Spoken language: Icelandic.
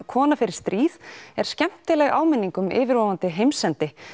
kona fer í stríð er skemmtileg áminning um yfirvofandi heimsendi